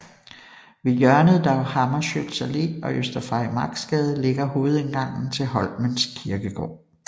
Ved hjørnet Dag Hammarskjölds Allé og Øster Farimagsgade ligger hovedindgangen til Holmens Kirkegård